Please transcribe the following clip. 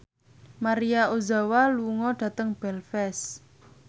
Maria Ozawa lunga dhateng Belfast